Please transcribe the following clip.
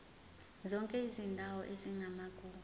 zonke izindawo ezingamagugu